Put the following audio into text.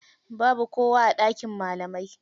Babu kowa a ɗakin malamai.